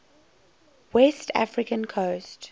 west african coast